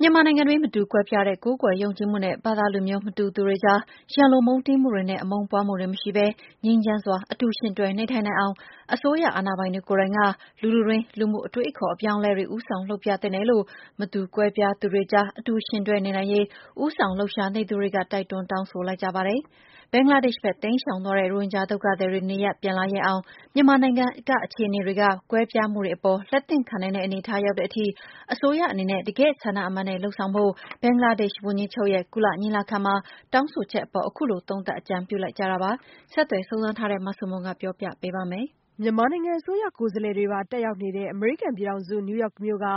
မြန်မာနိုင်ငံတွင်း မတူကွဲပြားတဲ့ ကိုးကွယ်ယုံကြည်မှုနဲ့ ဘာသာလူမျိုး မတူသူတွေကြား ရန်လိုမုန်းတီးမှုတွေနဲ့ အမုန်းပွားမှုတွေမရှိဘဲ ငြိမ်းချမ်းစွာ အတူယှဉ်တွဲ နေထိုင်နိုင်အောင် အစိုးရအာဏာပိုင်တွေကိုယ်တိုင်က လူထုတွင်း လူမှုအတွေးအခေါ် အပြောင်းအလဲတွေ ဦးဆောင်လုပ်ပြသင့်တယ်လို့ မတူကွဲပြားသူတွေကြား အတူယှဉ်တွဲနေနိုင်ရေး ဦးဆောင်လှုပ်ရှားနေသူတွေက တိုက်တွန်း တောင်းဆိုလိုက်ကြပါတယ်။ ဘင်္ဂလားဒေ့ရှ်ဘက် တိမ်းရှောင်သွားတဲ့ ရိုဟင်ဂျာ ဒုက္ခသည်တွေ နေရပ်ပြန်လာရဲအောင် မြန်မာနိုင်ငံ အခြေအနေတွေက ကွဲပြားမှုတွေအပေါ် လက်သင့်ခံနိုင်တဲ့ အနေအထား ရောက်တဲ့အထိ အစိုးရအနေနဲ့ တကယ့်ဆန္ဒမှန်နဲ့ လုပ်ဆောင်ဖို့ ဘင်္ဂလားဒေ့ရှ်ဝန်ကြီးချုပ်ရဲ့ ကုလညီလာခံမှာ တောင်းဆိုချက်အပေါ် အခုလို သုံးသပ် အကြံပြုလိုက်ကြတာပါ။ ဆက်သွယ်စုံစမ်းထားတဲ့ မဆုမွန် တင်ပြပေးထားပါတယ်။ မြန်မာနိုင်ငံအစိုးရ ကိုယ်စားလှယ်တွေပါ တက်ရောက်နေတဲ့ အမေရိကန်ပြည်ထောင်စု နယူးယောက်မြို့က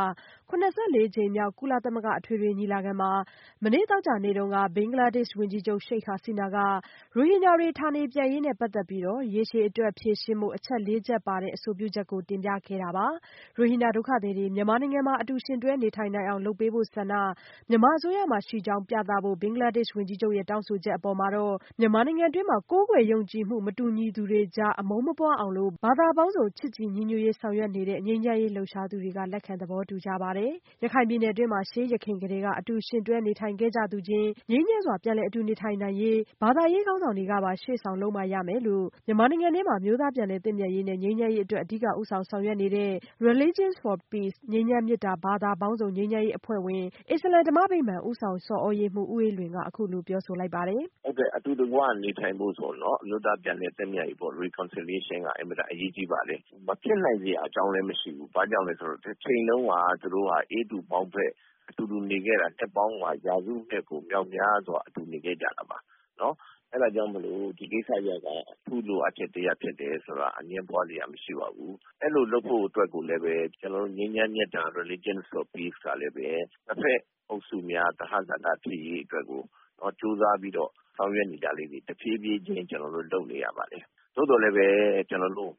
၇၄ ကြိမ်မြောက် ကုလသမဂ္ဂ အထွေထွေညီလာခံမှာ မနေ့ စက်တင်ဘာလ ၂၇ ရက် သောကြာနေ့က ဘင်္ဂလားဒေ့ရှ် ဝန်ကြီးချုပ် Sheikh Hasina က ရိုဟင်ဂျာတွေ ဌာနေပြန်ပို့ရေးနဲ့ ပတ်သက်ပြီး ရေရှည်အတွက် ဖြေရှင်းဖို့ အချက် ၄ ချက်ပါတဲ့ အဆိုပြုချက်ကို တင်ပြခဲ့တာပါ။ ရိုဟင်ဂျာဒုက္ခသည်တွေ မြန်မာနိုင်ငံမှာ အတူယှဉ်တွဲ နေထိုင်နိုင်အောင် လုပ်ပေးဖို့ဆန္ဒ မြန်မာအစိုးရမှာရှိကြောင်း ပြသဖို့ ဘင်္ဂလားဒေ့ရှ် ဝန်ကြီးချုပ်ရဲ့ တောင်းဆိုချက်အပေါ် မြန်မာနိုင်ငံတွင်း ကိုးကွယ်ယုံကြည်မှု မတူညီသူတွေကြား အမုန်းမပွားအောင်လို့ ဘာသာပေါင်းစုံ ချစ်ကြည်ညီညွတ်ရေး ဆောင်ရွက်နေတဲ့ ငြိမ်းချမ်းရေး လှုပ်ရှားသူတွေကလည်း လက်ခံ သဘောတူကြပါတယ်။ ရခိုင်ပြည်နယ်တွင်း ရှေးယခင်ကတည်းက အတူယှဉ်တွဲနေထိုင်ခဲ့ကြသူချင်း ငြိမ်းချမ်းစွာ အတူနေထိုင်နိုင်ရေး ဘာသာရေး ခေါင်းဆောင်တွေကပါ ရှေ့ဆောင်လုပ်မှ ရမယ်လို့ မြန်မာနိုင်ငံတွင်း အမျိုးသားပြန်လည်သင့်မြတ်ရေးနှင့် ငြိမ်းချမ်းရေးအတွက် အဓိကဦးဆောင် ဆောင်ရွက်နေတဲ့ (Religion for Peace - ငြိမ်းချမ်းမေတ္တာ ဘာသာပေါင်းစုံ ငြိမ်းချမ်းရေးအဖွဲ့) အဖွဲ့ဝင်လည်းဖြစ် အစ္စလာမ်ဓမ္မဗိမာန် ဦးဆောင်ဆော်သြရေးမှူး ဦးအေးလွင်က အခုလိုပြောဆိုလိုက်ပါတယ်။ “အတူတကွ နေထိုင်ဖို့ဆိုရင်တော့ အမျိုးသားပြန်လည်သင့်မြတ်ရေးပေါ့ Reconciliation က အင်မတန် အရေးကြီးပါတယ်။ မဖြစ်နိုင်စရာအကြောင်းလည်း မရှိဘူး။ ဘာကြောင့်လဲဆိုတော့ တချိန်တုန်းက သူတို့က အေးတူပေါင်းဖက် အတူနေခဲ့ကြတာ ရာစုနှစ် မြောက်မြားစွာ အတူနေခဲ့ကြတာပါ။ အဲဒါကြောင့် ဒီကိစ္စရပ်က အထူးလိုအပ်ချက်တရပ် ဖြစ်တယ်ဆိုတာ အငြင်းပွားစရာ မရှိပါဘူး။ အဲလိုလုပ်ဖို့အတွက် ကျနော်တို့ ငြိမ်းချမ်းမေတ္တာ Religion for Peace ကလည်းပဲ နှစ်ဖက်အုပ်စုများ သဟဇာတ ဖြစ်ရေးအတွက်ကို ကြိုးစားပြီး ဆောင်ရွက်နေတာလေးတွေ တဖြည်းဖြည်းချင်း ကျနော်တို့ လုပ်နေပါတယ်။ သို့သော်လည်းပဲ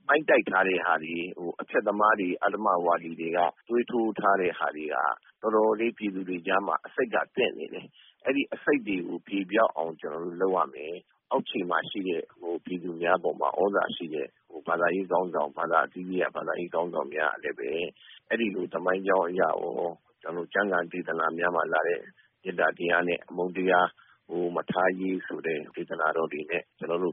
မှိုင်းတိုက်ထားတဲ့ဟာတွေ၊ အဖျက်သမားတွေ၊ အဓမ္မဝါဒီတွေက သွေးထိုးထားတဲ့ဟာတွေက တော်တော်လေး ပြည်သူတွေကြားမှာ အဆိပ်က သင့်နေတယ်။ အဲဒီအဆိပ်တွေကို ပြေပျောက်အောင် လုပ်ရမယ်။ အောက်ခြေမှာရှိတဲ့ ပြည်သူများပေါ်မှာ သြဇာရှိတဲ့ ဘာသာအသီးသီးက ဘာသာရေးခေါင်းဆောင်များကလည်းပဲ အဲဒီလို သမိုင်းကြောင်းအရရော ကျမ်းဂန် ဒေသနာများမှာလာတဲ့ မေတ္တာတရားနဲ့ အမုန်းတရား မထားရေးဆိုတဲ့ ဒေသနာတော်တွေနဲ့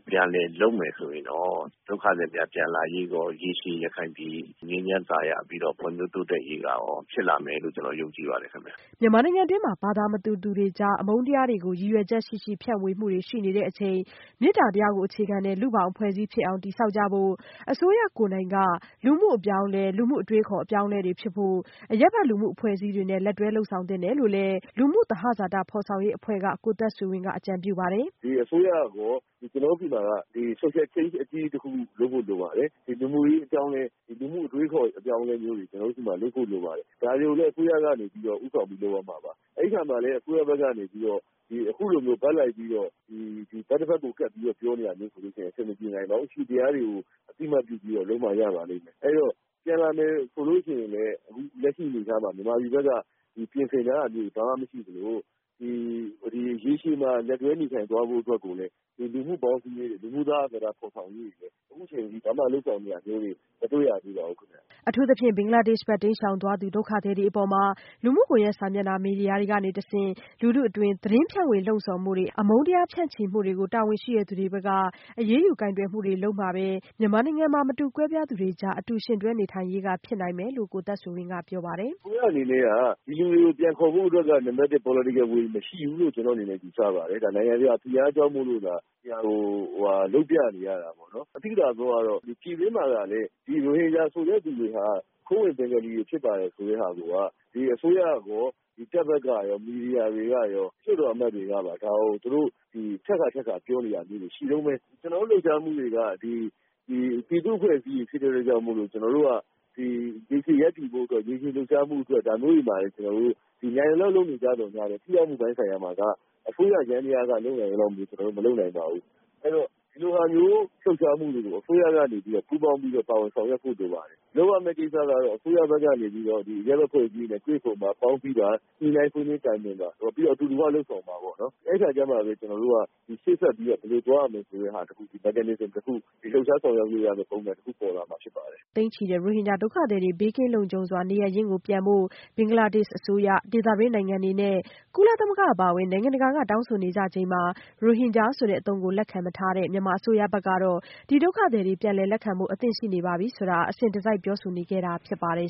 ပြန်လည်လုပ်မယ်ဆိုရင်တော့ ဒုက္ခသည်များ ပြန်လာရေးရော ရေရှည် ရခိုင်ပြည် ငြိမ်းချမ်းသာယာပြီးတော့ ဖွံ့ဖြိုးတိုးတက်ရေးကရော ဖြစ်လာမယ်လို့ ကျနော် ယုံကြည်ပါတယ်ခင်ဗျ။” မြန်မာနိုင်ငံတွင်း ဘာသာမတူသူတွေကြား အမုန်းတရားတွေကို ရည်ရွယ်ချက်ရှိရှိ ဖြန့်ဝေမှုတွေရှိနေချိန် မေတ္တာတရားကို အခြေခံတဲ့ လူ့ဘောင်အဖွဲ့အစည်းဖြစ်အောင် တည်ဆောက်ကြဖို့ အစိုးရကိုယ်တိုင်က လူမှုအပြောင်းအလဲ လူမှုအတွေးအခေါ် အပြောင်းအလဲတွေဖြစ်ဖို့ အရပ်ဘက်လူမှုအဖွဲ့အစည်းတွေနဲ့ လက်တွဲလုပ်ဆောင်သင့်တယ်လို့လည်း Synergy လူမှုသဟဇာတ ဖော်ဆောင်ရေးအဖွဲ့က ကိုသက်ဆွေဝင်းက အကြံပြုပါတယ်။ “ဒီအစိုးရရော၊ ကျနော်တို့ဆီမှာက Social Change အကြီးကြီးတခု လုပ်ဖို့လိုပါတယ်။ လူမှုရေး အပြောင်းအလဲ၊ လူမှုအတွေးအခေါ် အပြောင်းအလဲမျိုးတွေ ကျနော်တို့ဆီမှာ လုပ်ဖို့လိုပါတယ်။ ဒါတွေကိုလည်း အစိုးရကနေ ဦးဆောင်ပြီး လုပ်ရမှာပါ။ အဲဒီအခါမှာလည်း အစိုးရဘက်ကနေပြီးတော့ အခုလိုမျိုး ဘက်လိုက်ပြီးတော့ ဘက်တဖက်ကို ကပ်ပြီး ပြောနေတာမျိုးဆိုရင်တော့ အဆင်မပြေနိုင်ပါဘူး။ အရှိတရားတွေကို အသိအမှတ် ပြုပြီးတော့ လုပ်မှ ရပါလိမ့်မယ်။ အဲတော့ ပြန်လာမယ်ဆိုလို့ရှိရင်လည်း အခုလက်ရှိ အနေအထားမှာ မြန်မာပြည်ဘက်က ပြင်ဆင်ထားတာမျိုးတွေ ဘာမှမရှိသလို ရေရှည်မှာ လက်တွဲနေထိုင်သွားဖို့ အတွက်ကိုလည်း လူမှုပေါင်းစည်းရေးတွေ၊ လူမှုသဟဇာတ ဖော်ဆောင်ရေးတွေ အခုချိန်ထိ ဘာမှ လုပ်ဆောင်နေတာမျိုးတွေ မတွေ့ရသေးပါဘူးခင်ဗျ။” အထူးသဖြင့် ဘင်္ဂလားဒေ့ရှ်ဘက် တိမ်းရှောင်သွားသူ ဒုက္ခသည်တွေအပေါ် လူမှုကွန်ရက်စာမျက်နှာ မီဒီယာတွေကနေတဆင့် လူထုအတွင်း သတင်းဖြန့်ဝေ လှုံ့ဆော်မှုတွေ အမုန်းတရား ဖြန့်ချိမှုတွေကိုလည်း တာဝန်ရှိသူတွေဘက်က အရေးယူကိုင်တွယ်မှုတွေ လုပ်မှပဲ မြန်မာနိုင်ငံမှာ မတူကွဲပြားသူတွေကြား အတူယှဉ်တွဲနေထိုင်ရေး ဖြစ်နိုင်မယ်လို့ ကိုသက်ဆွေဝင်းက ပြောပါတယ်။ “အစိုးရအနေနဲ့က ဒီလူတွေကို ပြန်ခေါ်ဖို့အတွက် နံပါတ်တစ် Political Will မရှိဘူးလို့ ကျနော့်အနေနဲ့ ယူဆပါတယ်။ နိုင်ငံတကာ ဖိအားကြောင့်မို့သာ လုပ်ပြနေရတာပေါ့နော်။ သိသာတာကတော့ ပြည်တွင်းမှာလည်း ဒီ ရိုဟင်ဂျာဆိုတဲ့သူတွေဟာ ခိုးဝင်ဘင်္ဂါလီတွေ ဖြစ်ပါတယ်ဆိုတဲ့ဟာကို အစိုးရရော၊ တပ်ဘက်ကရော၊ မီဒီယာတွေရော၊ လွှတ်တော်အမတ်တွေကပါ ဒါကို သူတို့ ထပ်ခါထပ်ခါ ပြောနေတာမျိုးတွေ ရှိတုန်းပဲ။ ကျနော်တို့လှုပ်ရှားမှုတွေက ပြည်သူ့အဖွဲ့အစည်းတွေ ဖြစ်တဲ့အတွက်ကြောင့်မို့ ကျနော်တို့က ရေရှည်ရပ်တည်ဖို့အတွက် ရေရှည်လှုပ်ရှားဖို့အတွက် ဒါမျိုးတွေမှာ နိုင်သလောက် လုပ်နေသော်ငြားလည်း ထိရောက်မှုပိုင်းဆိုင်ရာမှာ အစိုးရယန္တရားက လုပ်နိုင်သလောက်မျိုး ကျနော်တို့ မလုပ်နိုင်ပါဘူး။ အဲတော့ ဒီလိုဟာမျိုး လှုပ်ရှားမှုတွေကို အစိုးရက ပူးပေါင်းပြီး ပါဝင်ဆောင်ရွက်ဖို့ လိုပါတယ်။ လုပ်ရမယ့်ကိစ္စကတော့ အစိုးရဘက်ကနေပြီးတော့ အရပ်ဘက် အဖွဲ့အစည်းတွေနဲ့ တွေ့ဆုံပါ၊ ပေါင်းစည်းပါ၊ ညှိနှိုင်းဆွေးနွေး တိုင်ပင်ပါ။ ပြီးတော့ အတူတကွ လုပ်ဆောင်ပါပေါ့။ အဲဒီအခါကျမှပဲ ကျနော်တို့က ရှေ့ဆက်ပြီး ဘယ်လိုသွားရမလဲဆိုတဲ့ Mechanism တခု လှုပ်ရှားဆောင်ရွက်လို့ရမယ့် ပုံစံတခု ပေါ်လာမှာဖြစ်ပါတယ်။” ဘင်္ဂလားဒေ့ရှ်နိုင်ငံဘက် တိမ်းရှောင်သွားတဲ့ သိန်းချီတဲ့ ရိုဟင်ဂျာဒုက္ခသည်တွေ ဘေးကင်းလုံခြုံစွာ နေရပ်ရင်းပြန်ရေး ဘင်္ဂလားဒေ့ရှ်အစိုးရ၊ ဒေသတွင်းနိုင်ငံတွေနဲ့ ကုလသမဂ္ဂ အပါအဝင် နိုင်ငံတကာက တောင်းဆိုနေကြချိန်မှာ ရိုဟင်ဂျာဆိုတဲ့အသုံးကို လက်မခံထားတဲ့ မြန်မာအစိုးရဘက်ကတော့ ဒုက္ခသည်တွေ ပြန်လည်လက်ခံဖို့ အသင့်ရှိနေပါပြီ ဆိုတာကို အစဉ်တစိုက် ပြောဆိုနေခဲ့တာ ဖြစ်ပါတယ်